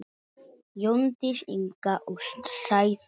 Jóndís Inga og Sæþór Már.